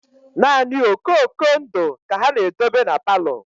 Nani okoko ndụ ka ha na-edobe n'palo